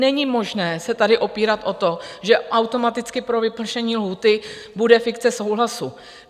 Není možné se tady opírat o to, že automaticky pro vypršení lhůty bude fikce souhlasu.